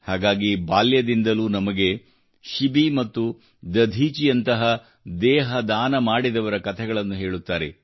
ಹಾಗಾಗಿ ಬಾಲ್ಯದಿಂದಲೂ ನಮಗೆ ಶಿಬಿ ಮತ್ತು ದಧೀಚಿಯಂತಹ ದೇಹ ದಾನ ಮಾಡಿದವರ ಕಥೆಗಳನ್ನು ಹೇಳುತ್ತಾರೆ